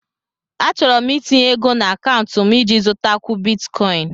Achọrọ m itinye ego na akaụntụ m iji zụtakwu Bitikoin